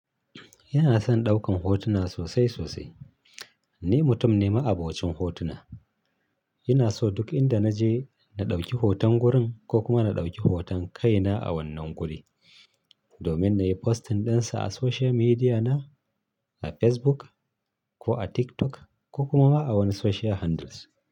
Ina son ɗaukan hotuna sosai sosai. Ni mutum ne ma'abocin hotuna. Ina so duk inda naje na ɗauki hoton gurin ko kuma na ɗauki hoton kaina a wannan guri, domin na yi posting ɗinsa a social media na, a Facebook, ko a TikTok, ko kuma ma a wani social handles.